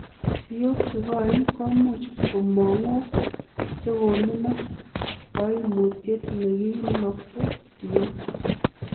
Siyok chekoen komuch komong' ok chekominok, koimutiet neminokse siyok.